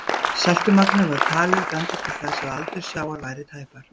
Seltumagnið var talið benda til þess að aldur sjávar væri tæpar